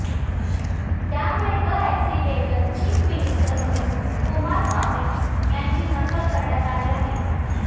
त्यामुळे the accidental chief minister म्हणून Kumaraswamy यांची नक्कल करण्यात आली आहे